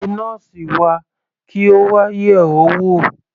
Pé nọ́ọ́sì wa kí Ó wà yẹ̀ ọ́ wò.